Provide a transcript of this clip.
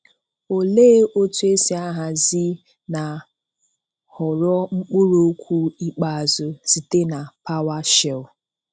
Olee otú esi ahazi na họrọ mkpụrụ okwu ikpeazụ site na PowerShell?